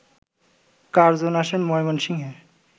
Curzon আসেন ময়মনসিংহে